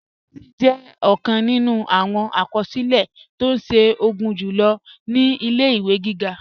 Federalism jẹ ọkan nínú awọn akọsilẹ̀ tó ṣe o gunjulo ni ilẹ̀-iwe gígá.